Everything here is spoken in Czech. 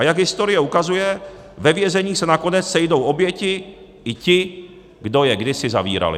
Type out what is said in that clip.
A jak historie ukazuje, ve vězení se nakonec sejdou oběti i ti, kdo je kdysi zavírali.